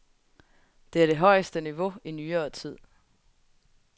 Det er det højeste niveau i nyere tid.